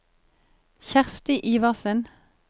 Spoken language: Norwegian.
Kjersti Iversen